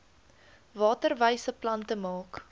waterwyse plante maak